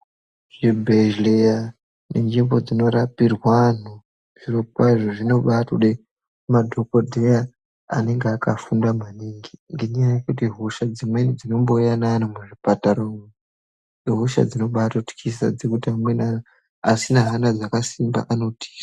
Zvibhehleya nenzvimbo dzinorapirwa anhu zvirokwazvo zvinotobade madhomldheya anenge akafunda maningi ngenyaya yekuti hosha dzimweni dzinombouya neanhu muzvipatara umu ihosha dzinobatotyisa zvekuti amweni asina Hana dzakasimba anobatotiza.